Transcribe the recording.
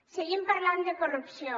seguim parlant de corrupció